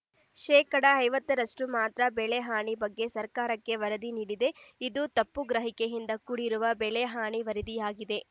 ಶೇಕಡಾ ಐವತ್ತರಷ್ಟು ಮಾತ್ರ ಬೆಳೆ ಹಾನಿ ಬಗ್ಗೆ ಸರ್ಕಾರಕ್ಕೆ ವರದಿ ನೀಡಿದೆ ಇದು ತಪ್ಪು ಗ್ರಹಿಕೆಯಿಂದ ಕೂಡಿರುವ ಬೆಳೆ ಹಾನಿ ವರದಿಯಾಗಿದೆ